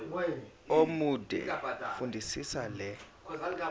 omude fundisisa le